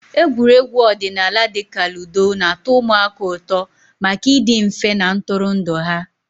Egwuregwu ọdịnala dị ka ludo na-atọ ụmụaka ụtọ maka ịdị mfe na ntụrụndụ ha.